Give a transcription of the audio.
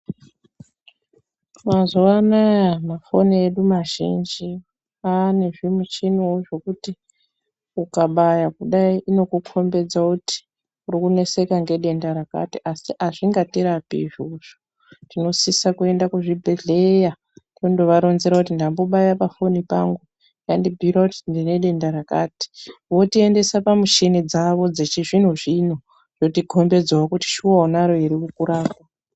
Mazuva anaa mafoni edu mazhini anewo zvimuchini zvekuti ukabaya kudai inokukombedza kuti ukuneseka ngedenda rakati asi azvingatirapi izvozvo. Tinosisa kuenda kuzvibhehleya tondovaronzera kuti ndambobaya pafoni pangu yandibhiira kuti ndine denda rakati votiendesa pamushini dzawo dzechizvino zvino. Rokukombedzawo kuti shuwa unaro ere ,vokurapa.